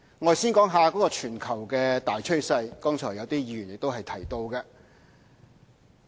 我先說全球大趨勢，剛才亦有些議員提到這點。